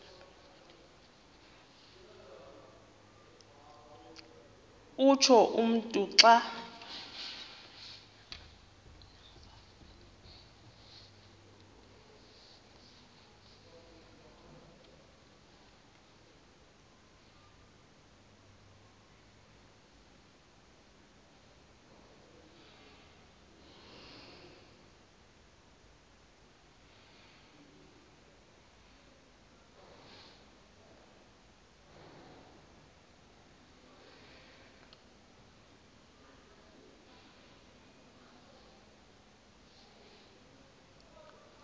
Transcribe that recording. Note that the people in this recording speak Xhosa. utsho umntu xa